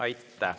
Aitäh!